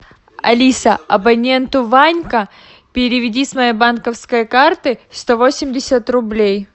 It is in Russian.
алиса абоненту ванька переведи с моей банковской карты сто восемьдесят рублей